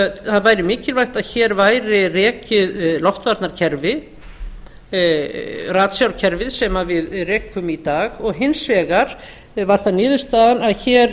það væri mikilvægt að hér væri rekin loftvarnarkerfi ratsjárkerfi sem við rekum í dag og hins vegar var það niðurstaðan að hér